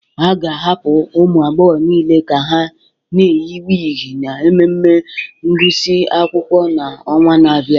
A ga-ahapụ ụmụ agbọghọ niile ka ha na-eyi wigs na mmemme ngụsị akwụkwọ ha n'ọnwa na-abịa